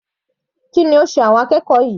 Kí ni ó sé àwọn akẹ́kọ̀ọ́ yìí?